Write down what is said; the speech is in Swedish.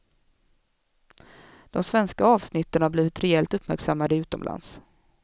De svenska avsnitten har blivit rejält uppmärksammade utomlands.